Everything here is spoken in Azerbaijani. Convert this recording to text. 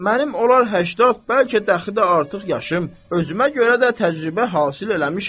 Mənim olar 80, bəlkə dəxi də artıq yaşım özümə görə də təcrübə hasil eləmişəm.